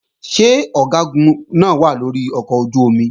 Ṣé Ọ̀gágun náà wà lórí ọkọ̀ ojú-omi?